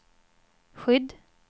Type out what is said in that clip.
skydd